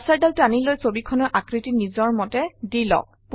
কাৰ্চৰডাল টানি লৈ ছবিখনৰ আকৃতি নিজৰ মতে দি লওক